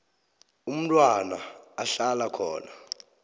umntwana ahlala khona